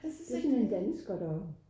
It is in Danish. Den sådan en dansker deroppe